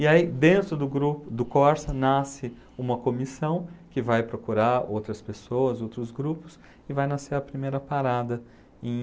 E aí, dentro do grupo do Corsa, nasce uma comissão que vai procurar outras pessoas, outros grupos, e vai nascer a primeira parada em